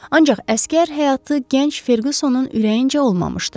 Ancaq əsgər həyatı gənc Ferqusonun ürəyincə olmamışdı.